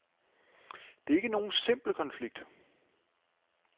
Det er ikke nogen simpel konflikt.